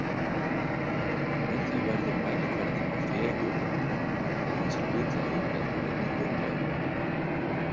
Með því verður mælikvarðinn á fegurð ekki aðeins hlutlægur heldur einnig huglægur.